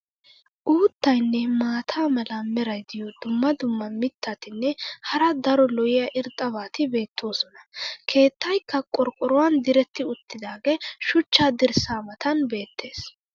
Uuttaynne maata mala meray diyo dumma dumma mitatinne hara daro lo'iya irxxabati beetoosona. keettaykka qorqqoruwan diretti uttidaagee shuchcha dirssaa matan beetees..